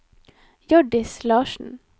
Hjørdis Larsen